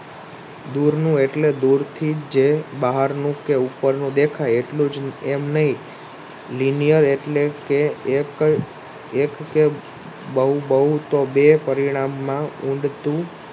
દૂરનું એટલે દૂરથી જે બહારનું કે ઉપરનું દેખાય એટલું જ એમ નહિ એટલે એક કે બહુ તો બે પરિણામમાં ઊડતું